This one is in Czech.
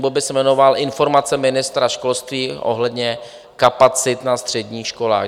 Bod by se jmenoval Informace ministra školství ohledně kapacit na středních školách.